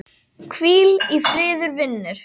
Hvíl í friði vinur.